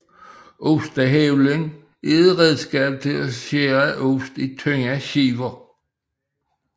Ostehøvlen er et redskab til at skære ost i tynde skiver